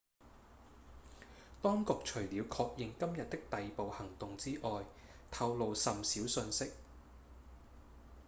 當局除了確認今日的逮捕行動之外透露甚少訊息